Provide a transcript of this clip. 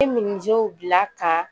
bila ka